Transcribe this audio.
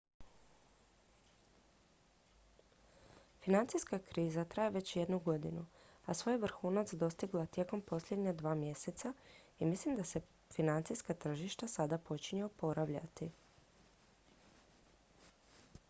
financijska kriza traje već jednu godinu a svoj je vrhunac dostigla tijekom posljednja dva mjeseca i mislim da se financijska tržišta sada počinju oporavljati